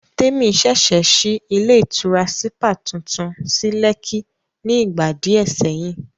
Témi ṣẹ̀ṣẹ̀ ṣí ilé ìtura sípà tuntun sí Lẹ́kí ni ìgbà díẹ̀ sẹ́yìn